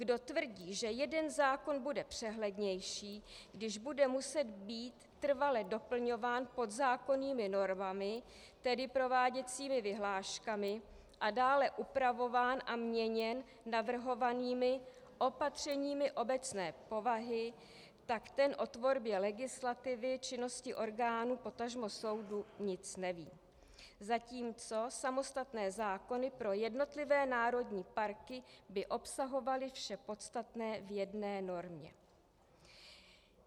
Kdo tvrdí, že jeden zákon bude přehlednější, když bude muset být trvale doplňován podzákonnými normami, tedy prováděcími vyhláškami, a dále upravován a měněn navrhovanými opatřeními obecné povahy, tak ten o tvorbě legislativy činnosti orgánů, potažmo soudů, nic neví, zatímco samostatné zákony pro jednotlivé národní parky by obsahovaly vše podstatné v jedné normě.